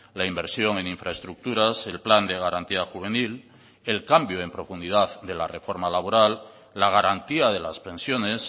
la inversión en infraestructuras el plan de garantía juvenil el cambio en profundidad de la reforma laboral la garantía de las pensiones